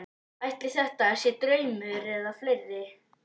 Ætli þetta sé draumur einhverra fleiri?